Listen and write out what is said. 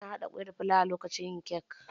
Ana haɗa kwai da fulawa lokacin yin kek.